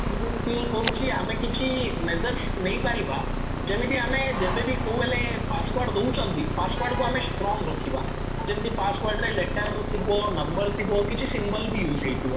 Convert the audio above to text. ମୁଁ feel କରୁଚି ଆମେ କିଛି majors ନେଇପାରିବା ଯେମିତି ଆମେ ଯେବେ ବି କୋଉ ହେଲେ password ଦଉଛନ୍ତି password କୁ ଆମେ strong ରଖିବା ଯେମିତି password ରେ letter ଥିବ ନମ୍ବର ଥିବ କିଛି symbol ବି use ହେଇଥିବ